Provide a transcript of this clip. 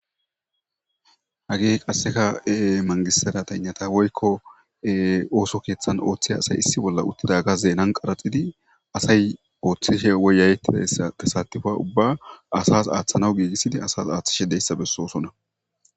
Hagey qaseka Manigist serateyinata woyko, ooso kethan othiza asay issi bolla utidaga zenan qaraxidi asay oothishe woyaya'etizaysa tesatifa ubba asas aathanas giigisid asas aathishe doysa besosona.